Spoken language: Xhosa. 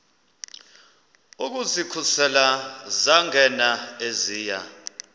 ukuzikhusela zangena eziya